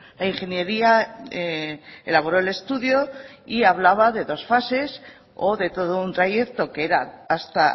la ingeniería elaboró el estudio y hablaba de dos fases o de todo un trayecto que era hasta